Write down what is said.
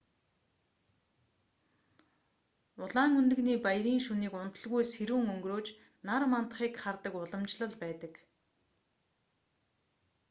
улаан өндөгний баярын шөнийг унталгүй сэрүүн өнгөрөөж нар мандахыг хардаг уламжлал байдаг